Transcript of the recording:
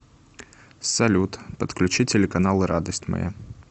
салют подключи телеканал радость моя